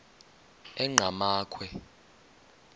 enqgamakhwe